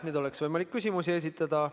Nüüd oleks võimalik küsimusi esitada.